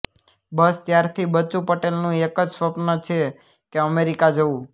બસ ત્યારથી બચુ પટેલનું એક જ સ્વપ્ન છે કે અમેરિકા જવું